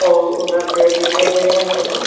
और उधर पेड़ दिखाई दे रहें हैं मेरेको।